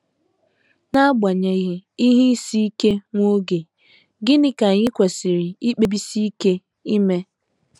N’agbanyeghị ihe isi ike nwa oge, gịnị ka anyị kwesịrị ikpebisi ike ime?